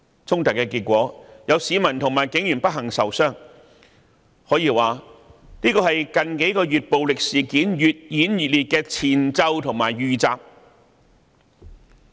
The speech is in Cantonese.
衝突的結果，是有市民和警員不幸受傷，這可說是近幾個月暴力事件越演越烈的前奏和預習。